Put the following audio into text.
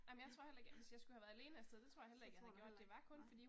Ja, ja, så tror du heller ikke, nej